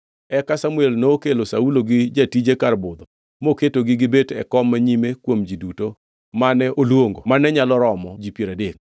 Eka Samuel nokelo Saulo gi jatije kar budho moketogi gibet e kom manyime kuom ji duto mane oluongo mane nyalo romo ji piero adek.